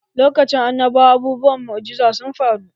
Lokacin annabawa abubuwan mu'ujiza sun faru